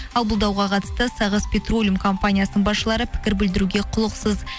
ал бұл дауға қатысты сағыс петролиум компаниясының басшылары пікір білдіруге құлықсыз